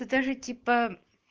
да даже типа